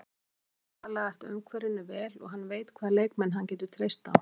Hann hefur þegar aðlagast umhverfinu vel og hann veit hvaða leikmenn hann getur treyst á.